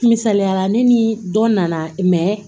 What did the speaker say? Misaliyala ne ni dɔ nana